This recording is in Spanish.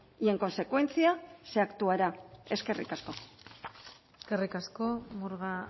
y en consecuencia se actuará eskerrik asko eskerrik asko murga